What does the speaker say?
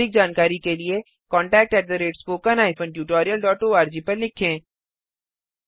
अधिक जानकारी के लिए contactspoken tutorialorg पर लिखें